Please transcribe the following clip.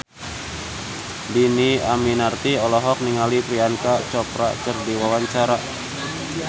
Dhini Aminarti olohok ningali Priyanka Chopra keur diwawancara